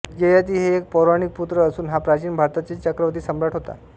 ययाति हे एक पौराणिक पुत्र असून हा प्राचीन भारतातील चक्रवर्ती सम्राट होता